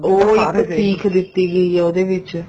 ਉਹ ਇੱਕ ਸੀਖ ਦਿੱਤੀ ਗਈ ਆ ਉਹਦੇ ਵਿੱਚ